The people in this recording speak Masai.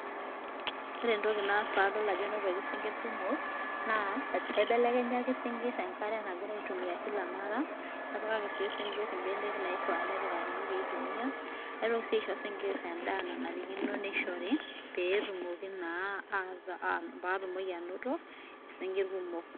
Ore entoki naas padol ajo enotoki isingirr kumok, naa kaibelekenyaki isinkirr enkare naingira aitumia kila mara napikaki sii isinkirr imbenek naifaa pepikikani pee itumia, naitoki sii aisho isinkirr endaa nanarikino nishori, petumokii naa aa patumoki anoto isinkirr kumok.